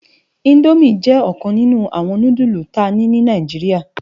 Indómi jè okan ninù áwòn núdùlú ta ni nì Náijiriá